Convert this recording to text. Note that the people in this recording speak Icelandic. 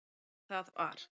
Og það var